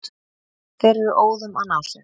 Þeir eru óðum að ná sér.